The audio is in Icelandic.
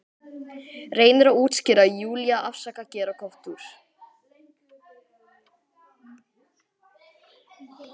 Reynir að útskýra, Júlía, afsaka, gera gott úr.